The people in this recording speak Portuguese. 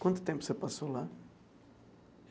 Quanto tempo você passou lá?